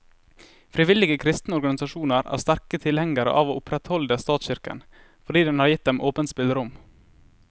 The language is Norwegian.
Frivillige kristne organisasjoner er sterke tilhengere av å opprettholde statskirken, fordi den har gitt dem åpent spillerom.